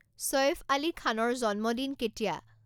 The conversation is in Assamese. ছৈফ আলী খানৰ জন্মদিন কেতিয়া